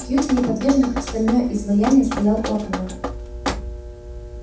кьюти неподвижно как стальное изваяние стоял у окна